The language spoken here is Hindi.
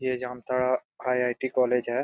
ये जामताड़ा आई.आई.टी कॉलेज है।